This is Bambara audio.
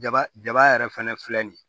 Jaba jaba yɛrɛ fɛnɛ filɛ nin ye